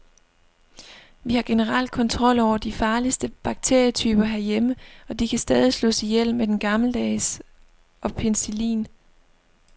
Vi har generelt kontrol over de farligste bakterietyper herhjemme, og de kan stadig slås ihjel med den gammeldags og penicillin.